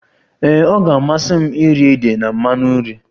Ee, ọ ga-amasị m iri ede na mmanụ nri